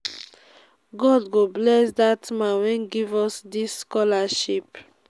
god go bless dat man wey give us dis scholarship